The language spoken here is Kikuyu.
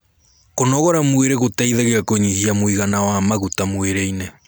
kũnogora mwĩrĩ gũteithagia kunyihia muigana wa maguta mwĩrĩ-ini